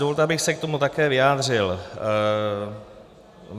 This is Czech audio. Dovolte, abych se k tomu také vyjádřil.